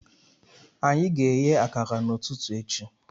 Anyị ga-eghe akara n'ụtụtụ echi